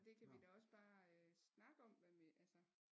Det kan vi da også bare øh snakke om hvad vi altså